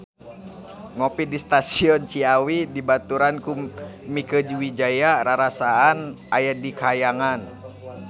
Ngopi di Stasiun Ciawi dibaturan ku Mieke Wijaya rarasaan aya di kahyangan